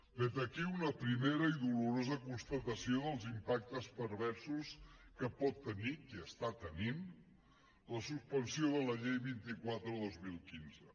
vet aquí una primera i dolorosa constatació dels impactes perversos que pot tenir que està tenint la suspensió de la llei vint quatre dos mil quinze